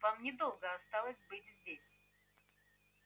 вам недолго осталось быть здесь